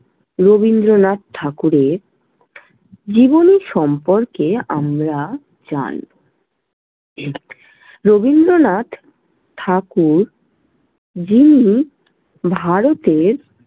রবীন্দ্রনাথ ঠাকুরের জীবনী সম্পর্কে আমরা জান ছি। রবীন্দ্রনাথ ঠাকুর যিনি ভারতের।